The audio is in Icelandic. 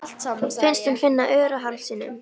Finnst hún finna ör á hálsinum.